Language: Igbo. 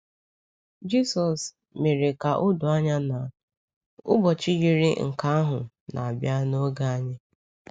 Jịsọs mere ka o doo anya na “ụbọchị” yiri nke ahụ na-abịa n’oge anyị.